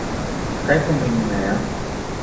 Kaj pomeni meja?